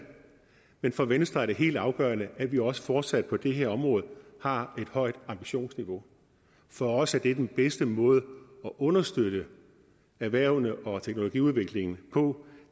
men for venstre er det helt afgørende at vi også fortsat på det her område har et højt ambitionsniveau for os er det den bedste måde at understøtte erhvervene og teknologiudviklingen på